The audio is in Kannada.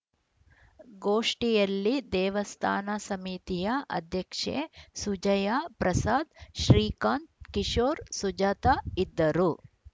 ಗೋಷ್ಠಿಯಲ್ಲಿ ದೇವಸ್ಥಾನ ಸಮಿತಿಯ ಅಧ್ಯಕ್ಷೆ ಸುಜಯಾ ಪ್ರಸಾದ್‌ ಶ್ರೀಕಾಂತ್‌ ಕಿಶೋರ್‌ ಸುಜಾತ ಇದ್ದರು